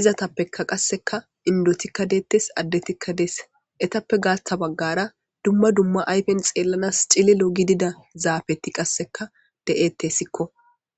izatappeka qasseka indotikka deettes addetikka deese etappe gaatha baggara dumma dumma ayfen xeellanas cililo gidida zaabeti qasseka de'etesikko.